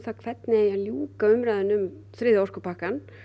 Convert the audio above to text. hvernig ljúka eigi umræðunni um þriðja orkupakkann